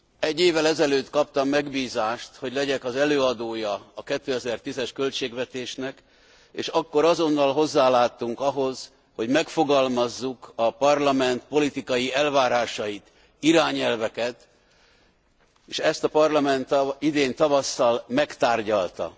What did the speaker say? Egy évvel ezelőtt kaptam megbízást, hogy legyek az előadója a 2010 es költségvetésnek, és akkor azonnal hozzáláttunk ahhoz, hogy megfogalmazzuk a Parlament politikai elvárásait, irányelveket, és ezt a Parlament idén tavasszal megtárgyalta.